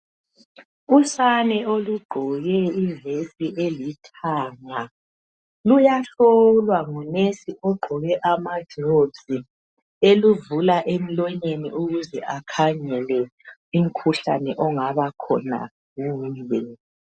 Usane olugqoke ivesi elithanga luyahlolwa ngunesi ogqoke amagilovisi eluvula emlonyeni ukuze akhangele umkhuhlane ongabakhona kuyo.